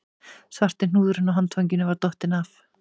Svarti hnúðurinn á handfanginu var dottinn af